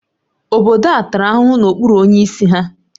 Obodo a tara ahụhụ n'okpuru onyeisi ha